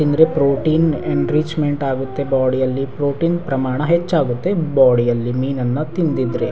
ಇಂದ್ರೆ protein enrichment ಆಗುತ್ತೆ ಬೋಡಿಯಲ್ಲಿ protein ಪ್ರಮಾಣ ಹೆಚ್ಚಾಗುತ್ತೆ ಬೋಡಿಯಲ್ಲಿ ಮೀನನ್ನ ತಿಂದಿದ್ರೆ .